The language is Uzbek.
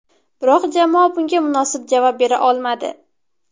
Biroq jamoa bunga munosib javob bera olmadi.